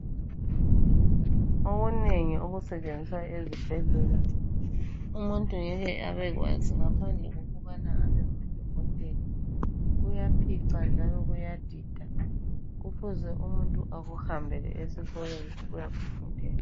Okunengi okusetshenziswa ezibhendlela umuntu ngeke Abe kwazi ngaphandle kokubala Abe ngudokotela kuyaphica njalo kuyadida kufuze umuntu akuhambele esikolo ukuyakufundela